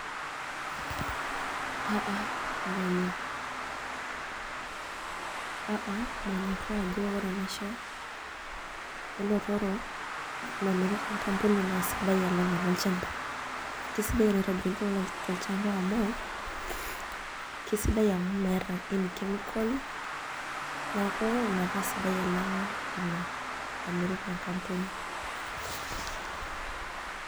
A, a manyoraa ajo ore enaisho namiri tenkampuni naa sidai alang enolchamba, kisidai enolchamba amu meeta chemical